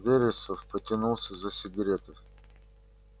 вересов потянулся за сигарой